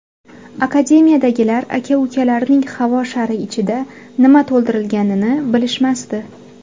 Akademiyadagilar aka-ukalarning havo shari ichida nima to‘ldirilganini bilishmasdi.